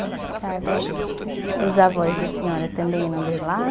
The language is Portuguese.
Os avós da senhora também de lá?